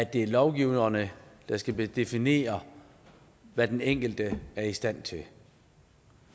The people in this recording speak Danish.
at det er lovgiverne der skal definere hvad den enkelte er i stand til